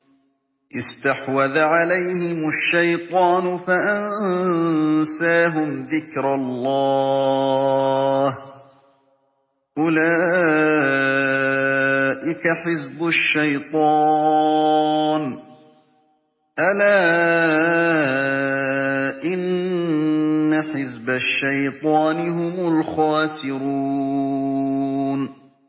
اسْتَحْوَذَ عَلَيْهِمُ الشَّيْطَانُ فَأَنسَاهُمْ ذِكْرَ اللَّهِ ۚ أُولَٰئِكَ حِزْبُ الشَّيْطَانِ ۚ أَلَا إِنَّ حِزْبَ الشَّيْطَانِ هُمُ الْخَاسِرُونَ